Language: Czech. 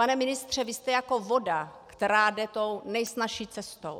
Pane ministře, vy jste jako voda, která jde tou nejsnazší cestou.